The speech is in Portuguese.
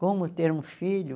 Como ter um filho?